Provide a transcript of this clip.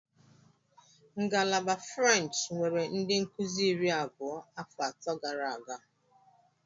Ngalaba French nwere ndị nkuzi iri abụọ afọ atọ gara aga.